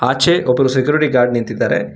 ಆಚೆ ಒಬ್ಬರು security guard ನಿಂತಿದ್ದಾರೆ.